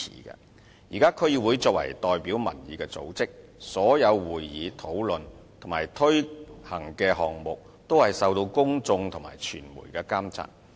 現時區議會作為代表民意的組織，所有會議、討論及推行的項目也是受到公眾和傳媒監察。